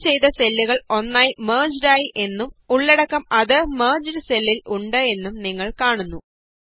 select ചെയ്ത സെല്ലുകള് ഒന്നായി മെര്ജ്ഡ് ആയി എന്നും ഉള്ളടക്കം അതേ മെര്ജ്ഡ് സെല്ലില് ഉണ്ട് എന്നും നിങ്ങള് കാണുന്നു